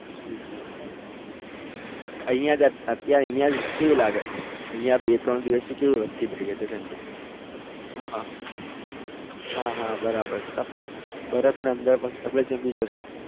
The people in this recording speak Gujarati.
હમ હમ અહિયાં અત્યારે અહિયાં કેવી લાગે છે અહિયાં બે ત્રણ દિવસથી કેવી વધતી થઈ ગઈ છે ઠંડી હા હા હા બરાબર બરફના અંદર પાંચ આપણે જામી જશું. હમ હમ